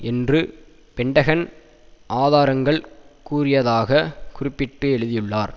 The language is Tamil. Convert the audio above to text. என்று பென்டகன் ஆதாரங்கள் கூறியதாக குறிப்பிட்டு எழுதியுள்ளார்